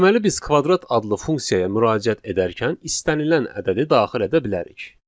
Deməli biz kvadrat adlı funksiyaya müraciət edərkən istənilən ədədi daxil edə bilərik.